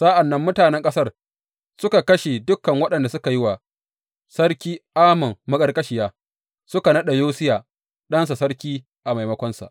Sa’an nan mutanen ƙasar suka kashe dukan waɗanda suka yi wa Sarki Amon maƙarƙashiya, suka naɗa Yosiya ɗansa sarki a maimakonsa.